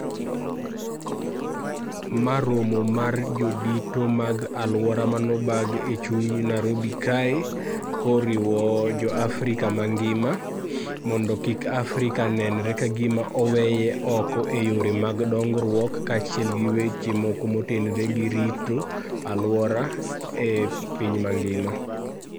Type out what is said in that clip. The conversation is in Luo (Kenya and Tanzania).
Ma romo mar jodito mag alwora manobag e chuny Narobi kae, koriwo jo Africa mangima, mondo kik Africa nenre ka gima oweye oko e yore mag dongruok kaachiel gi weche moko motenre gi rito alwora e piny mangima.